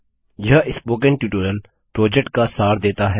यह spoken tutorial project का सार देता है